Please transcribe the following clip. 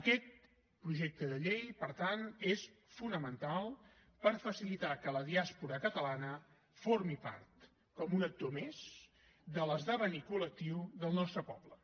aquest projecte de llei per tant és fonamental per facilitar que la diàspora catalana formi part com un actor més de l’esdevenir col·lectiu del nostre poble